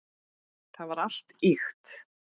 Það var allt ýkt.